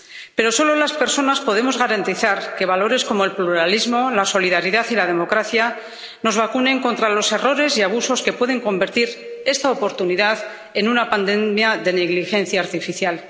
Pero solo las personas podemos garantizar que valores como el pluralismo, la solidaridad y la democracia nos vacunen contra los errores y abusos que pueden convertir esta oportunidad en una pandemia de negligencia artificial.